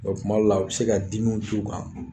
Ɔ tuma dɔw la u bɛ se ka dimiw t'u kan